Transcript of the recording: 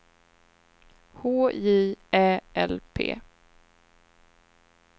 H J Ä L P